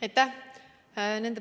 Aitäh!